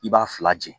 I b'a fila di